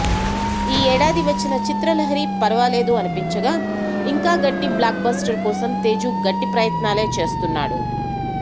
ఈ ఏడాది వచ్చిన చిత్రలహరి పర్వాలేదు అనిపించగా ఇంకా గట్టి బ్లాక్ బస్టర్ కోసం తేజు గట్టి ప్రయత్నాలే చేస్తున్నాడు